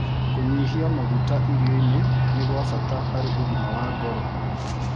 Kũnyĩhĩa magũta irionĩ nĩ gwa bata harĩ ũgima wa ngoro